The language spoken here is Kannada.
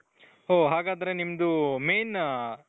ಹೋ ಹಾಗಾದ್ರೆ ನಿಮ್ದು main